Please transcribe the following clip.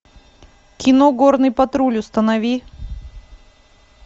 кино горный патруль установи